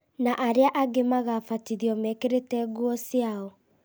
na arĩa angĩ magabatithio mekĩrĩte nguo ciao